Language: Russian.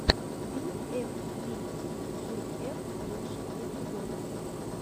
би эф ви си джи эф лучший эпизод